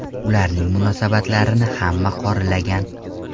Ularning munosabatlarini hamma qoralagan.